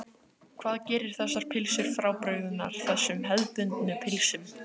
Þorbjörn: Hvað gerir þessar pylsur frábrugðnar þessum hefðbundnu pylsum?